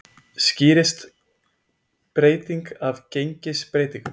Skýrist breytingin af gengisbreytingum